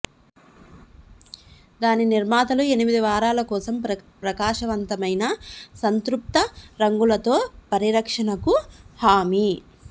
దాని నిర్మాతలు ఎనిమిది వారాల కోసం ప్రకాశవంతమైన సంతృప్త రంగులతో పరిరక్షణకు హామీ